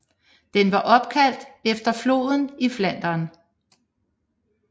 Den var opkaldt efter floden i Flandern